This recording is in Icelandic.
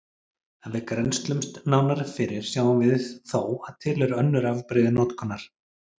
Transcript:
Ef við grennslumst nánar fyrir sjáum við þó að til eru önnur afbrigði notkunar.